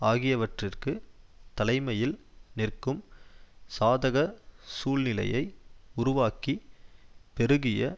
ஆகியவற்றிற்கு தலைமையில் நிற்கும் சாதகச் சூழ்நிலையை உருவாக்கி பெருகிய